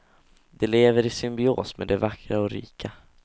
De lever i symbios med de vackra och rika.